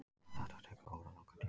Allt tekur þetta óralangan tíma.